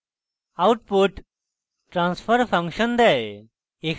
output transfer function দেয়